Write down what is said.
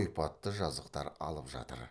ойпатты жазықтар алып жатыр